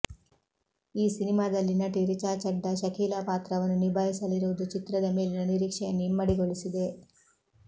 ಈ ಸಿನಿಮಾದಲ್ಲಿ ನಟಿ ರಿಚಾ ಚಡ್ಡಾ ಶಕೀಲಾ ಪಾತ್ರವನ್ನು ನಿಭಾಯಿಸಲಿರುವುದು ಚಿತ್ರದ ಮೇಲಿನ ನಿರೀಕ್ಷೆಯನ್ನು ಇಮ್ಮಡಿ ಗೊಳಿಸಿದೆ